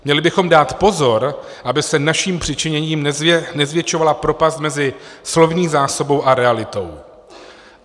Měli bychom dát pozor, aby se naším přičiněním nezvětšovala propast mezi slovní zásobou a realitou.